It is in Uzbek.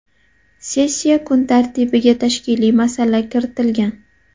Sessiya kun tartibiga tashkiliy masala kiritilgan.